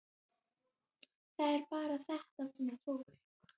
Það er bara þetta með fólk.